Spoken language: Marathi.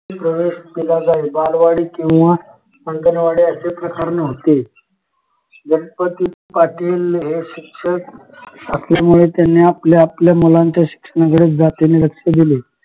प्रवेश दिला जाईल बालवाडी किंवा अंगणवाडी असे प्रकार नव्हते गणपती पाटील हे शिक्षक असल्यामुळे त्यांनी आपल्याआपल्या मुलांच्या शिक्षणाकडे जातीने लक्ष दिले